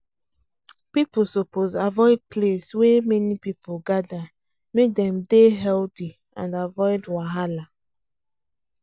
people suppose avoid place wey many people gather make dem dey healthy and avoid wahala